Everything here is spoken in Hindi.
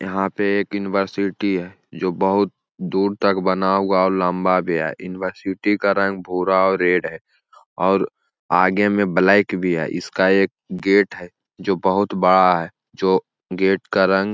यहाँ पे एक यूनिवर्सिटी है जो बहुत दूर तक बना हुआ लम्बा भी है यूनिवर्सिटी का रंग भूरा और रेड है और आगे में ब्लैक भी है इसका एक गेट है जो बहोत बड़ा है जो गेट का रंग--